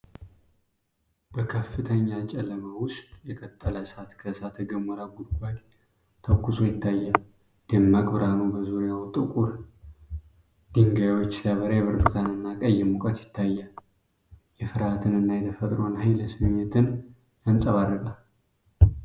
በከፍተኛ ጨለማ ውስጥ የቀለጠ እሳት ከእሳተ ገሞራ ጉድጓድ ተኩሶ ይታያል። ደማቅ ብርሃኑ በዙሪያው ጥቁር ድንጋዮች ሲበራ፣ የብርቱካንና ቀይ ሙቀት ይታያል። የፍርሃትንና የተፈጥሮን የኃይል ስሜት ያንጸባርቃል።